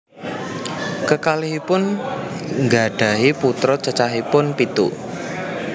Kekalihipun nggadhahi putra cacahipun pitu